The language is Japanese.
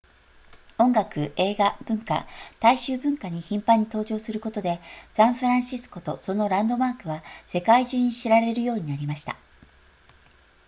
音楽映画文学大衆文化に頻繁に登場することでサンフランシスコとそのランドマークは世界中に知られるようになりました